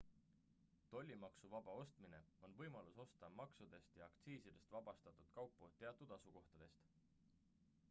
tollimaksuvaba ostmine on võimalus osta maksudest ja aktsiisidest vabastatud kaupu teatud asukohtadest